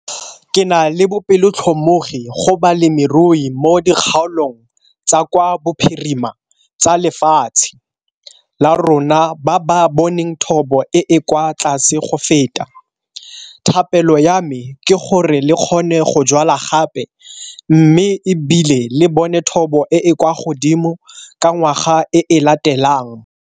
Ke na le bobelotlhomogi go balemirui mo dikgaolong tsa kwa bophirima tsa lefatshe la rona ba ba boneng thobo e e kwa tlase go feta - thapelo ya me ke gore le kgone go jwala gape mme e bile le bone thobo e e kwa godimo ka ngwaga e e latelang.